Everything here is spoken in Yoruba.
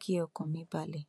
kí ọkàn mi balẹ